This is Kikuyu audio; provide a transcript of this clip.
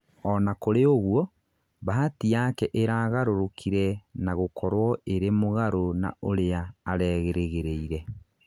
ona kũrĩ ũgũo, bahati yake iragarũrũkire na gũkorwo ĩrĩ mũgaru na ũria arerigĩrĩire